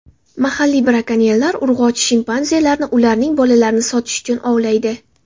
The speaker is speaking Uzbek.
Mahalliy brakonyerlar urg‘ochi shimpanzelarni ularning bolalarini sotish uchun ovlaydi.